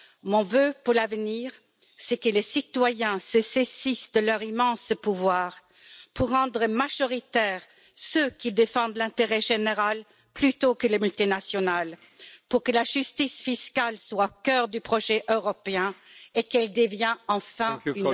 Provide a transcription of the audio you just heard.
Mon vœu pour l'avenir, c'est que les citoyens se saisissent de leur immense pouvoir pour rendre majoritaires ceux qui défendent l'intérêt général plutôt que les multinationales, pour que la justice fiscale soit le cœur du projet européen et qu'elle devienne enfin une